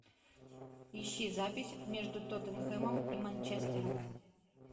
ищи запись между тоттенхэмом и манчестером